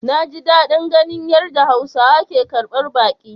Naji dadin ganin yadda hausawa ke karbar baki.